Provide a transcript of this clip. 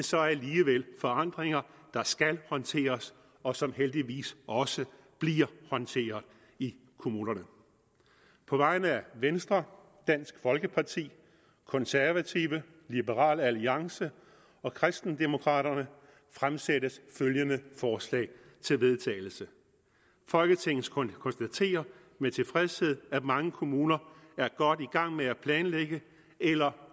så alligevel forandringer der skal håndteres og som heldigvis også bliver håndteret i kommunerne på vegne af venstre dansk folkeparti de konservative liberal alliance og kristendemokraterne fremsættes følgende forslag til vedtagelse folketinget konstaterer med tilfredshed at mange kommuner er godt i gang med at planlægge eller